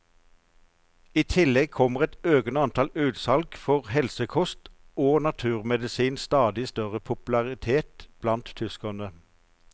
I tillegg kommer et økende antall utsalg for helsekost og naturmedisinens stadig større popularitet blant tyskerne.